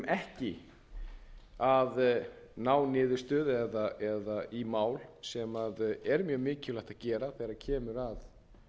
ekki að ná niðurstöðu í mál sem er mjög mikilvægt að gera þegar kemur að